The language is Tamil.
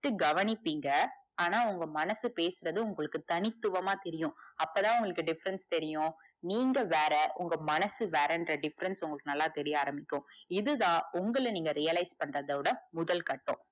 just கவனிப்பீங்க ஆனா உங்க மனசு பேசுறது உங்களுக்கு தனித்துவமா தெரியும் அப்பதா உங்களுக்கு difference தெரியும் நீங்க வேற உங்க மனசு வேறன்ற difference உங்களுக்கு நல்லா தெரிய ஆரம்பிக்கும் இதுதா உங்கள நீங்க realise பண்றத விட முதல் கட்டம்.